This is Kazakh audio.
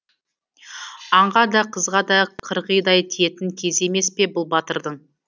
аңға да қызға да қырғидай тиетін кезі емес пе бұл батырдың